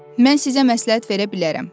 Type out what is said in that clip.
Mən sizə məsləhət verə bilərəm.